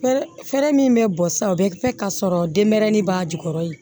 Fɛɛrɛ min bɛ bɔ sa o bɛ kɛ ka sɔrɔ denmɛrɛni b'a jukɔrɔ yen